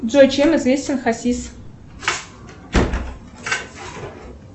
джой чем известен хасис